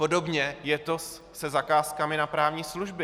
Podobně je to se zakázkami na právní služby.